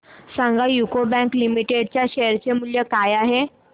सांगा UCO bank limited च्या share चे मूल्य काय आहे